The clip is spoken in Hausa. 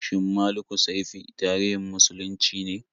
Shin Malikussaifi tarihin muslunci ne?